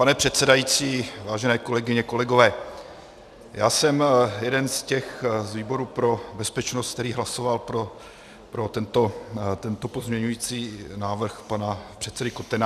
Pane předsedající, vážené kolegyně, kolegové, já jsem jeden z těch z výboru pro bezpečnost, který hlasoval pro tento pozměňující návrh pana předsedy Kotena.